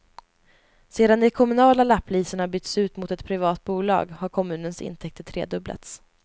Sedan de kommunala lapplisorna bytts ut mot ett privat bolag har kommunens intäkter tredubblats.